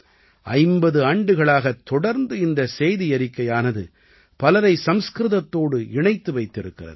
50 ஆண்டுகளாகத் தொடர்ந்து இந்தச் செய்தியறிக்கையானது பலரை சம்ஸ்கிருதத்தோடு இணைத்து வைத்திருக்கிறது